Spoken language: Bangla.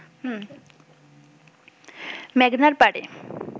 মেঘনার পাড়ে